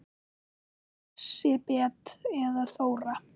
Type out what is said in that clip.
Ertu Lísibet eða Þóra?